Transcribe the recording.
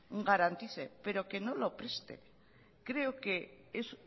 garantice pero que no los preste creo que es